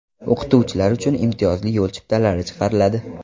O‘qituvchilar uchun imtiyozli yo‘l chiptalari chiqariladi.